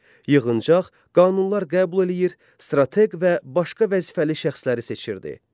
Yığıncaq qanunlar qəbul eləyir, strateq və başqa vəzifəli şəxsləri seçirdi.